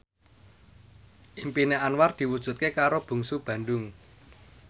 impine Anwar diwujudke karo Bungsu Bandung